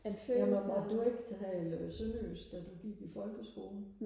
ja måtte du ikke tale sønderjysk da du gik i folkeskolen